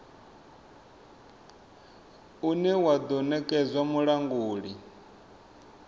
une wa do nekedzwa mulanguli